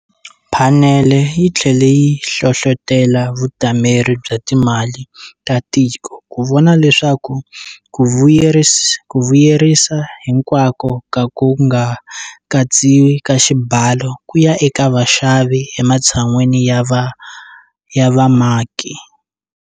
Phanele yi tlhele yi hlohlotela Vutameri bya Timali ta Tiko ku vona leswaku ku vuyerisa hinkwako ka ku nga katsiwi ka xibalo ku ya eka vaxavi ematshan'weni ya vamaki.